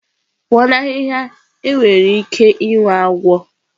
pụọ na ahihia enwere ike inwe agwọ.